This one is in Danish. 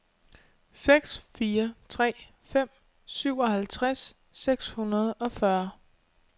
seks fire tre fem syvoghalvtreds seks hundrede og fyrre